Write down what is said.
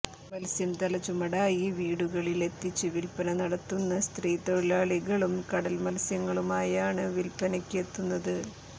മത്സ്യം തലച്ചുമടായി വീടുകളിലെത്തിച്ച് വില്പ്പന നടത്തുന്ന സ്ത്രീത്തൊഴിലാളികളും കടല് മത്സ്യങ്ങളുമായാണ് വില്പ്പനയ്ക്ക് എത്തുന്നത്